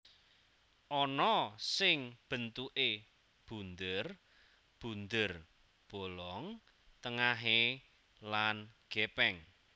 Ana sing bentuké bunder bunder bolong tengahé lan gèpèng